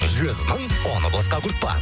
жүз мың оны босқа құртпа